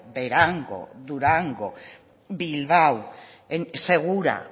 berango durango bilbao segura